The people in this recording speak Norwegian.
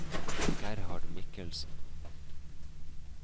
Gerhard Mikkelsen